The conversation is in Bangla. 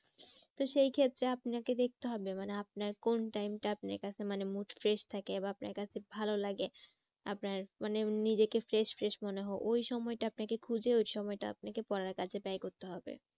তো সেই ক্ষেত্রে আপনাকে দেখতে হবে মানে আপনার কোন time টা আপনার কাছে মানে mood fresh থাকে বা আপনার কাছে ভালো লাগে। আপনার মানে নিজেকে fresh fresh মনে হয়। ওই সময়টা আপনাকে খুঁজে ওই সময়টা আপনাকে পড়ার কাজে ব্যায় করতে হবে।